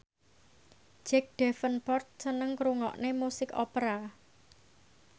Jack Davenport seneng ngrungokne musik opera